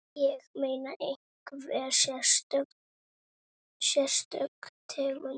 Ég meina, einhver sérstök tegund?